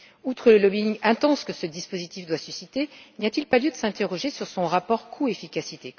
Outre le lobbying intense que ce dispositif doit susciter, n'y a t il pas lieu de s'interroger sur son rapport coût efficacité?